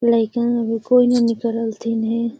लेकिन औ कोई न निकलत हई ने।